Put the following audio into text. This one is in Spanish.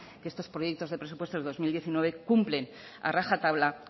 que estos proyectos de presupuestos dos mil diecinueve cumplen a rajatabla